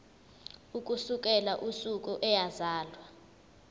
ukusukela usuku eyazalwa